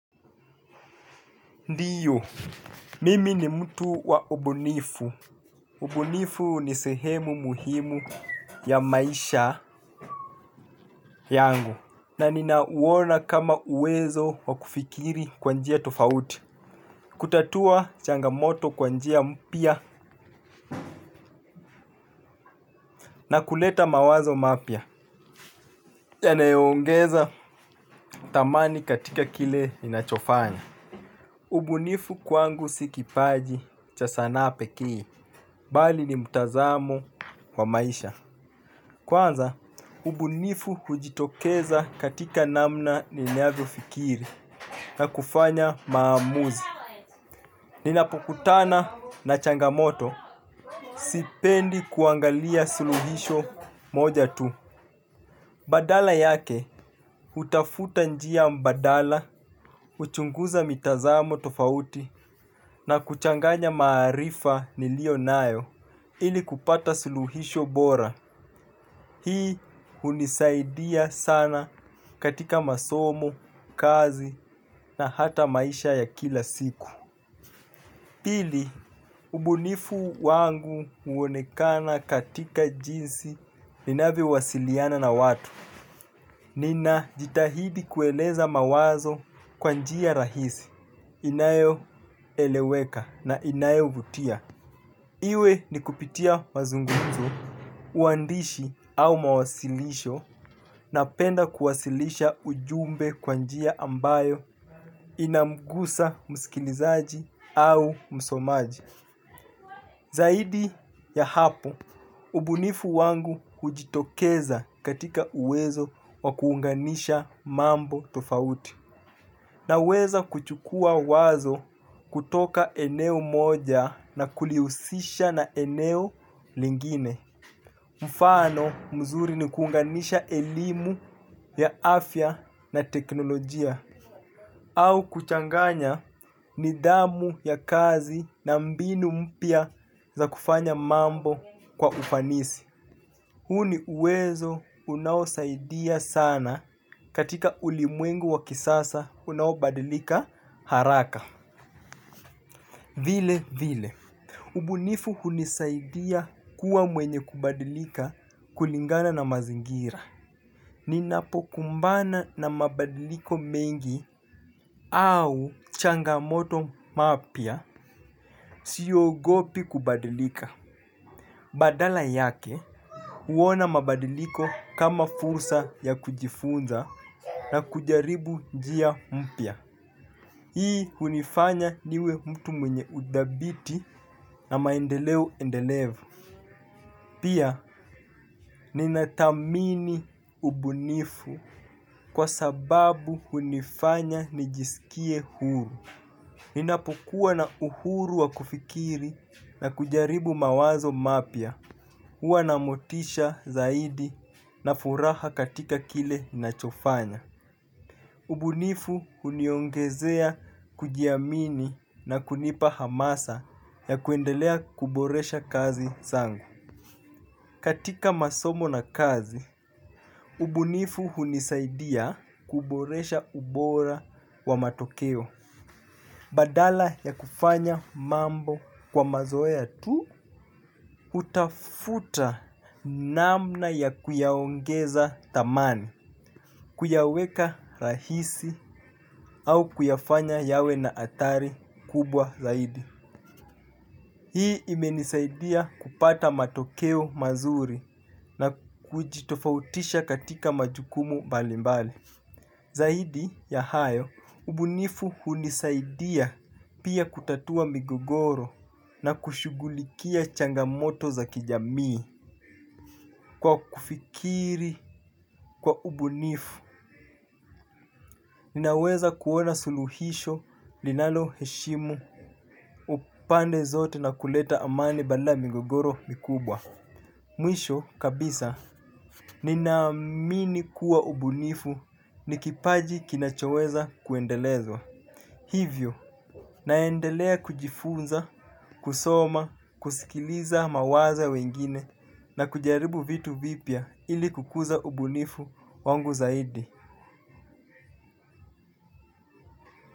Ndiyo, mimi ni mtu wa ubunifu. Ubunifu ni sehemu muhimu ya maisha yangu na ninauona kama uwezo wa kufikiri kwa njia tofauti. Kurltatua changamoto kwa njia mpya na kuleta mawazo mapya yanayo ongeza thamani katika kile ninachofanya. Ubunifu kwangu si kipaji cha sanaa pekee kii bali ni mtazamo wa maisha. Kwanza ubufu hujitokeza katika namna ninavyofikiri na kufanya maamuzi. Ninapokutana na changamoto sipendi kuangalia suluhisho moja tu. Badala yake, hutafuta njia mbadala, uchunguza mitazamo tofauti na kuchanganya maarifa niliyo nayo ili kupata suluhisho bora. Hii hunisaidia sana katika masomo, kazi na hata maisha ya kila siku. Pili, ubunifu wangu huonekana katika jinsi ninavyowasiliana na watu. Nina jitahidi kueleza mawazo kwa njia rahisi, inayoeleweka na inayo vutia. Iwe ni kupitia mazunguzo, uandishi au mawasilisho na penda kuwasilisha ujumbe kwa njia ambayo inamgusa msikilizaji au msomaji. Zaidi ya hapo, ubunifu wangu hujitokeza katika uwezo wa kuunganisha mambo tofauti. Naweza kuchukua wazo kutoka eneo moja na kulisisha na eneo lingine. Mfano mzuri ni kuunganisha elimu ya afya na teknolojia. Au kuchanganya nidhamu ya kazi na mbinu mpya za kufanya mambo kwa ufanisi. Huu ni uwezo unaosaidia sana katika ulimwengu wa kisasa unaobadilika haraka. Vile vile, ubunifu hunisaidia kuwa mwenye kubadilika kulingana na mazingira. Ninapo kumbana na mabadiliko mengi au changamoto mapya siogopi kubadilika. Badala yake huona mabadiliko kama fursa ya kujifunza na kujaribu njia mpya. Hii hunifanya niwe mtu mwenye udhabiti na maendeleo endelevu. Pia ninatathamini ubunifu kwa sababu hunifanya nijisikie huru. Ninapukuwa na uhuru wa kufikiri na kujaribu mawazo mapya huwa na motisha zaidi na furaha katika kile ninachofanya. Ubunifu huniongezea kujiamini na kunipa hamasa ya kuendelea kuboresha kazi zangu. Katika masomo na kazi, ubunifu hunisaidia kuboresha ubora wa matokeo. Badala ya kufanya mambo kwa mazoea tu, hutafuta namna ya kuyaongeza thamani, kuyaweka rahisi au kuyafanya yawe na atdhari kubwa zaidi. Hii imenisaidia kupata matokeo mazuri na kujitofautisha katika majukumu balimbali. Zaidi ya hayo, ubunifu hunisaidia pia kutatua migogoro na kushugulikia changamoto za kijamii. Kwa kufikiri kwa ubunifu, ninaweza kuona suluhisho linalo heshimu upande zote na kuleta amani banda migogoro mikubwa. Mwisho kabisa ninaamini kuwa ubunifu ni kipaji kinachoweza kuendelezwa. Hivyo, naendelea kujifunza, kusoma, kusikiliza mawazo ya wengine na kujaribu vitu vipya ili kukuza ubunifu wangu zaidi.